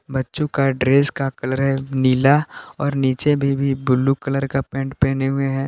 बच्चों का ड्रेस का कलर है नीला और नीचे भी भी ब्लू कलर का पैंट पहने हुए हैं।